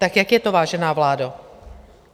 Tak jak je to, vážená vládo?